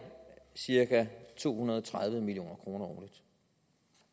cirka to hundrede og tredive million kroner årligt